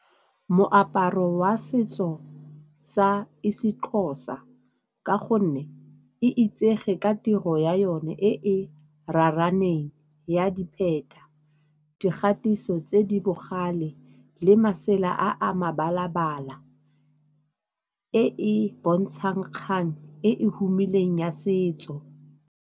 Moaparo wa setso sa isiXhosa ka gonne e itsege ka tiro ya yone e e raraaneng ya dipheta, dikgatiso tse di bogale le masela a a mabala-bala e e bontshang kgang e e humileng ya setso.